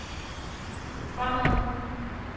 fremad